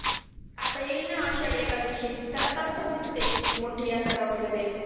आता येईना आषाढी एकादशी त्यालाच असतात तीथ ते मोठी मोठी यात्रा वगेरे